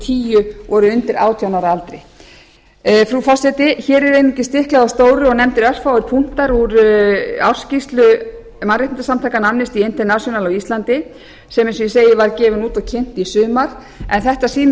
tíu voru undir átján ára aldri frí forseti hér er einungis stiklað á stóru og nefndir örfáir punkta úr ársskýrslu mannréttindasamtakanna amnesty international á íslandi sem eins og ég segi var gefin út og kynnt í sumar en þetta sýnir